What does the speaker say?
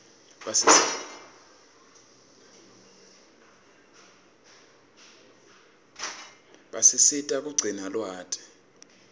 basisita kugcina lwati